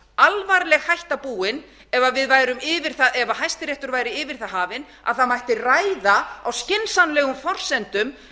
alvarleg hætta búin ef hæstiréttur væri yfir það hafinn að það mætti ræða á skynsamlegum